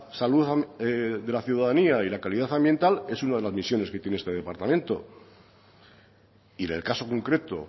salud de la ciudadanía y la calidad ambiental es una de las misiones que tiene este departamento y en el caso concreto